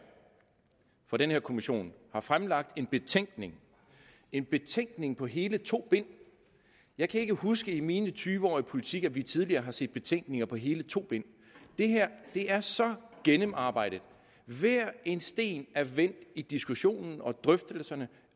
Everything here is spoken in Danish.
for den her kommission har fremlagt en betænkning en betænkning på hele to bind jeg kan ikke huske i mine tyve år i politik at vi tidligere har set betænkninger på hele to bind det her er så gennemarbejdet hver en sten er vendt i diskussionen og drøftelserne